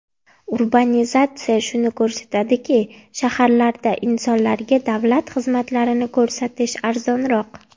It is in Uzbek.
Urbanizatsiya shuni ko‘rsatadiki, shaharlarda insonlarga davlat xizmatlarini ko‘rsatish arzonroq.